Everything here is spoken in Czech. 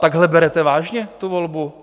Takhle berete vážně tu volbu?